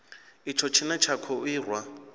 itsho tshine tsha kho irwa